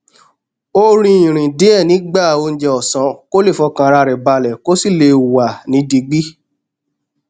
ó rìn ìrìn díè nígbà oúnjẹ òsán kó lè fọkàn ara rè balè kó sì lè wà ní digbí